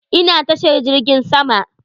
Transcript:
Ina tashar jirgin sama.